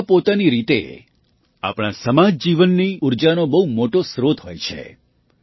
મેળા પોતાની રીતે આપણા સમાજ જીવનની ઊર્જાનો બહુ મોટો સ્રોત હોય છે